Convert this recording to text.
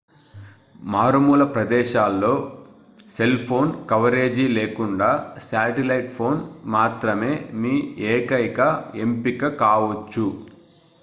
మారుమూల ప్రదేశాల్లో cell phone coverage లేకుండా శాటిలైట్ ఫోన్ మాత్రమే మీ ఏకైక ఎంపిక కావొచ్చు